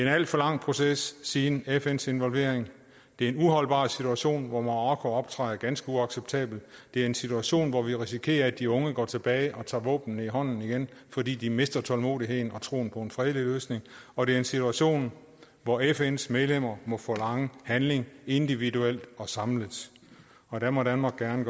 en alt for lang proces siden fns involvering det er en uholdbar situation hvor marokko optræder ganske uacceptabelt det er en situation hvor vi risikerer at de unge går tilbage og tager våbnene i hånden igen fordi de mister tålmodigheden og troen på en fredelig løsning og det er en situation hvor fns medlemmer må forlange handling individuelt og samlet og der må danmark gerne